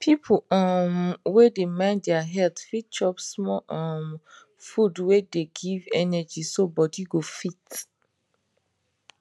people um wey dey mind their health fit chop small um food wen de give energy so body go fit